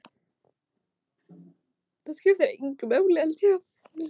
Í liði ÍR eru nokkrir reynsluboltar, skiptir miklu máli að hafa slíka leikmenn innanborðs?